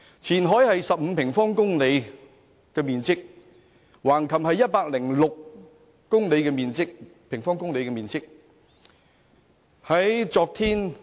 前海面積是15平方公里，橫琴面積是106平方公里。